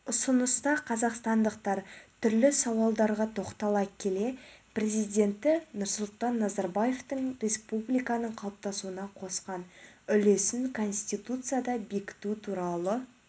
ұсыныста қазақстандықтар түрлі сауалдарға тоқтала келе президенті нұрсұлтан назарбаевтың республиканың қалыптасуына қосқан үлесін конституцияда бекіту туралы